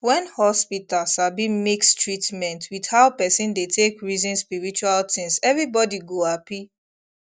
when hospital sabi mix treatment with how person dey take reason spiritual things everybody go happy